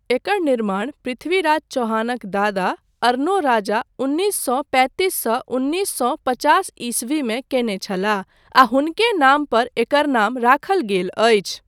एकर निर्माण पृथ्वीराज चौहानक दादा अरनोराजा उन्नीस सौ पैंतीस सँ उन्नीस सौ पचास ईस्वीमे कयने छलाह आ हुनके नाम पर एकर नाम राखल गेल अछि।